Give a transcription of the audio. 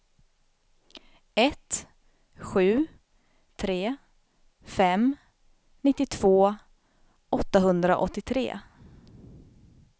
ett sju tre fem nittiotvå åttahundraåttiotre